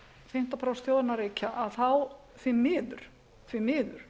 fimmtán prósent þjóðarinnar reykja þá því miður